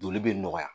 Joli bɛ nɔgɔya